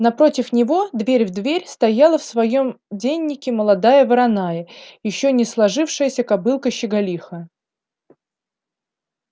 напротив него дверь в дверь стояла в своём деннике молодая вороная ещё не сложившаяся кобылка щеголиха